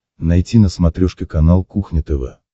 найти на смотрешке канал кухня тв